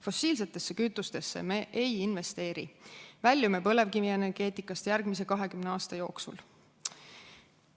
Fossiilsetesse kütustesse me ei investeeri ja väljume põlevkivienergeetikast järgmise 20 aasta jooksul.